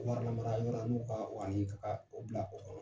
Warilamara yɔrɔ n'u ka obila o kɔnɔ.